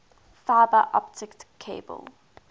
fiber optic cable